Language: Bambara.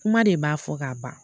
Kuma de b'a fɔ ka ban